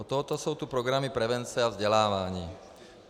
Od toho jsou tu programy prevence a vzdělávání.